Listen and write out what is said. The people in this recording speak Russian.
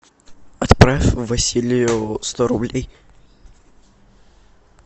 отправь василию сто рублей